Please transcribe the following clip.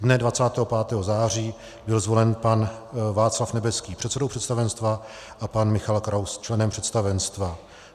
Dne 25. září byl zvolen pan Václav Nebeský předsedou představenstva a pan Michal Kraus členem představenstva.